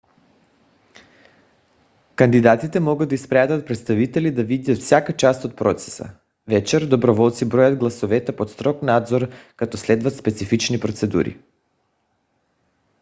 кандидатите могат да изпратят представители да видят всяка част от процеса. вечер доброволци броят гласовете под строг надзор като следват специфични процедури